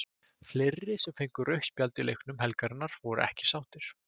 Fleiri sem fengu rautt spjald í leikjum helgarinnar voru ekki sáttir.